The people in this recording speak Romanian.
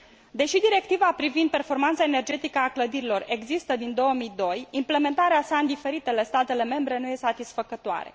Deși directiva privind performanța energetică a clădirilor există din 2002, implementarea sa în diferitele state membre nu este satisfăcătoare.